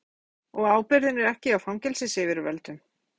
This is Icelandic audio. Þóra Kristín: Og ábyrgðin er ekki hjá fangelsisyfirvöldum?